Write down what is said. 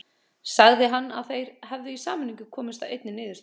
Sagði hann að þeir hefðu í sameiningu komist að einni niðurstöðu.